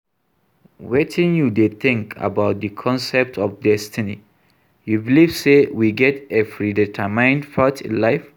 Wetin you dey think about di concept of destiny, you believe say we get a predetermined path in life?